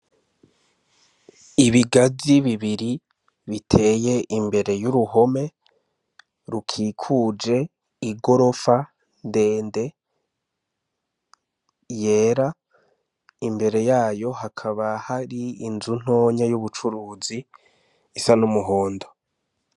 Ibigazi bibiri biteye imbere y'uruhome rukikuje i gorofa ndende yera imbere yayo hakaba hari inzu ntoya y'ubucuruzi isa n'umuhondo.